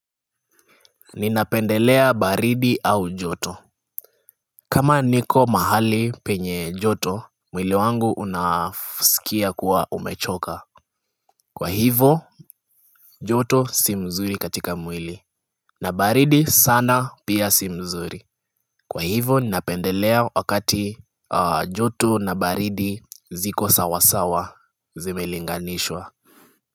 Ninapendelea baridi au joto kama niko mahali penye joto mwili wangu unasikia kuwa umechoka Kwa hivo joto si mzuri katika mwili na baridi sana pia si mzuri Kwa hivo ninapendelea wakati joto na baridi ziko sawasawa zimelinganishwa.